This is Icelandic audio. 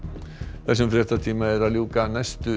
þessum fréttatíma er að ljúka næstu